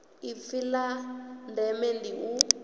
ipfi la ndeme ndi u